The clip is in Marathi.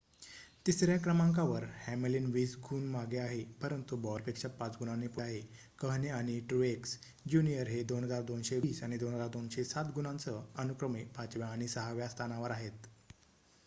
तिसर्‍या क्रमांकावर हॅमलिन वीस गुण मागे आहे परंतु बॉयरपेक्षा पाच गुणांनी पुढे आहे कहणे आणि ट्रूएक्स ज्युनियर हे 2,220 आणि 2,207 गुणांसह अनुक्रमे पाचव्या आणि सहाव्या स्थानावर आहेत